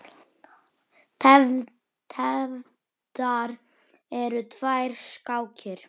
Tefldar eru tvær skákir.